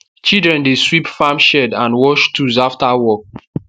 children dey sweep farm shed and wash tools after work